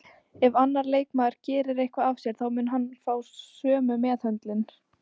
Ef annar leikmaður gerir eitthvað af sér þá mun hann fá sömu meðhöndlun